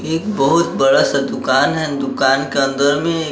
एक बहुत बड़ा सा दुकान है दुकान के अंदर में--